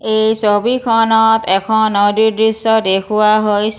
এই ছবিখনত এখন নদীৰ দৃশ্য দেখুওৱা হৈ...